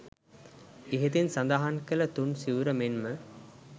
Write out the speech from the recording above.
ඉහතින් සඳහන් කළ තුන් සිවුර මෙන් ම